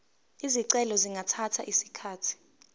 izicelo zingathatha isikhathi